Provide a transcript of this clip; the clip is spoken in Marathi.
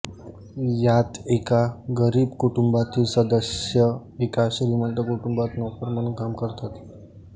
यात एका गरीब कुटुंबातील सदस्य एका श्रीमंत कुटुंबात नोकर म्हणून काम करतात